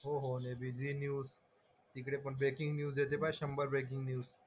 हो हो Zee news तिकडे पण ब्रेकिंग न्यूज येते बघ शंभर ब्रेकिंग न्यूज.